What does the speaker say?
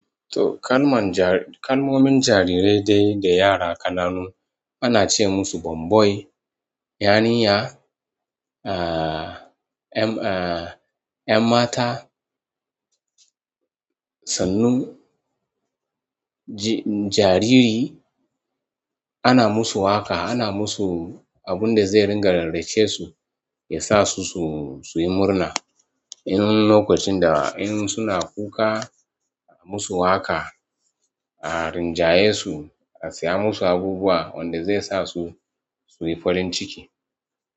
To, kan man ja-- kan domin jarirai dai da yara ƙananu ana ce musu bomboy, yarinya, aa, 'yan mata, tsanu, ji, jariri ana musu waƙa, ana musu abun da zai ringa rarrace su, ya sa su, su, suyi murna. In lokacin da in suna kuka, a musu waƙa, a rinjaye su, a saya musu abubuwa wanda zai sa su, suyi farin ciki.